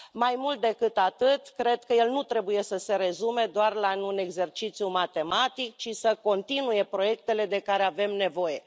Mai mult decât atât, cred că el nu trebuie să se rezume doar la un exercițiu matematic, ci să continue proiectele de care avem nevoie.